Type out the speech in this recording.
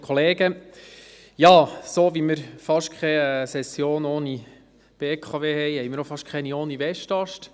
Ja, so wie wir fast keine Session ohne BKW haben, haben wir auch fast keine ohne Westast.